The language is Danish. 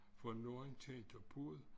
For når en tænker på det